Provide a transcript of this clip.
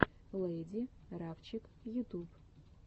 лэйди рафчик ютуб